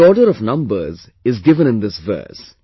The order of numbers is given in this verse